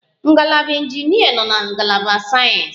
Ngalaba injinịa nọ na ngalaba sayensị